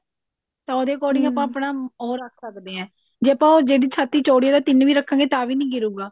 ਤਾਂ ਉਹਦੇ according ਆਪਣਾ ਉਹ ਰੱਖ ਸਕਦੇ ਹਾਂ ਜੇ ਆਪਾਂ ਜਿਹਦੀ ਛਾਤੀ ਚੋੜੀ ਹੈ ਤਿੰਨ ਵੀ ਰੱਖਾਂਗੇ ਤਾਂ ਵੀ ਨੀ ਗਿਰੁਗਾ